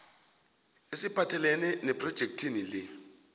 esiphathelene nephrojekhthi le